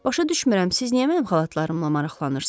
Başa düşmürəm, siz niyə mənim xalatlarımla maraqlanırsız?